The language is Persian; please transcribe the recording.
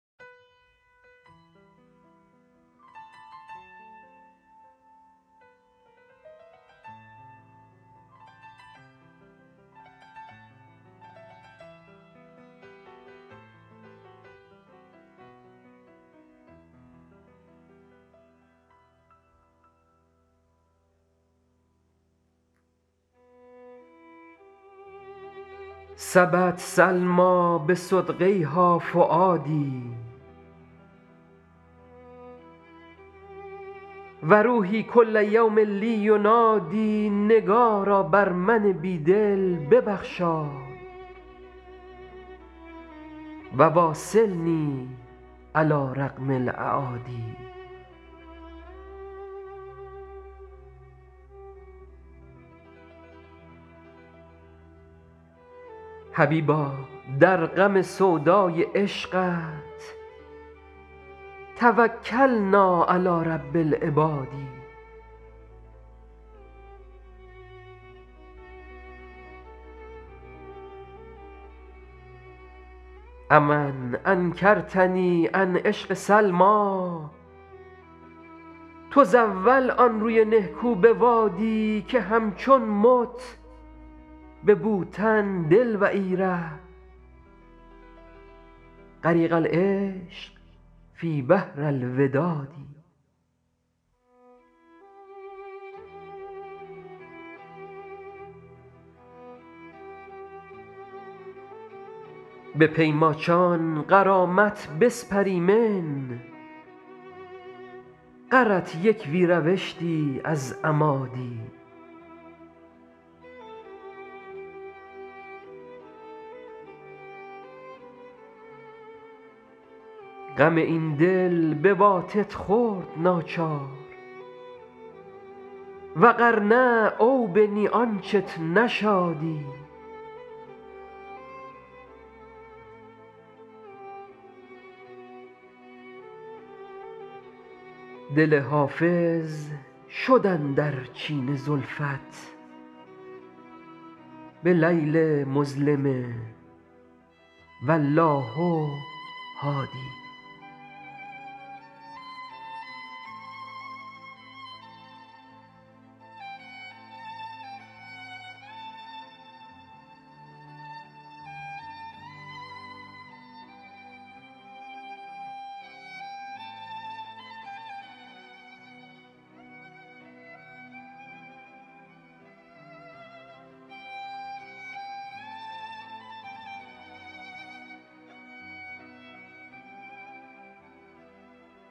سبت سلمیٰ بصدغیها فؤادي و روحي کل یوم لي ینادی نگارا بر من بی دل ببخشای و واصلني علی رغم الأعادي حبیبا در غم سودای عشقت توکلنا علی رب العباد أ من انکرتني عن عشق سلمیٰ تزاول آن روی نهکو بوادی که همچون مت به بوتن دل و ای ره غریق العشق فی بحر الوداد به پی ماچان غرامت بسپریمن غرت یک وی روشتی از اما دی غم این دل بواتت خورد ناچار و غر نه او بنی آنچت نشادی دل حافظ شد اندر چین زلفت بلیل مظلم و الله هادی